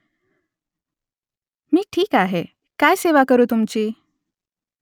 मी ठीक आहे काय सेवा करू तुमची ?